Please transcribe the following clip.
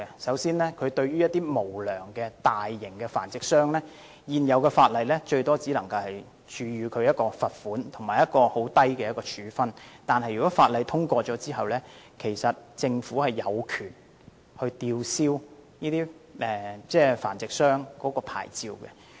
首先，對於無良的大型繁殖商，現時法例最多只能處以罰款，以及很輕微的處分，但修訂規例生效後，政府便有權吊銷這些繁殖商的牌照。